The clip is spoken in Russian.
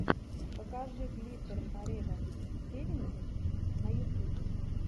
покажи глиттер форева севентин на ютубе